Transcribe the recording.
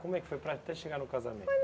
Como é que foi para até chegar no casamento?